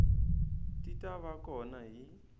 ti ta va kona hi